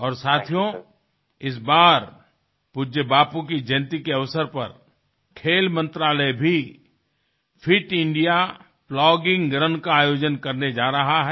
और साथियों इस बार पूज्य बापू की जयंती के अवसर पर खेल मंत्रालय भी फिट इंडिया प्लॉगिंग रुन का आयोजन करने जा रहा है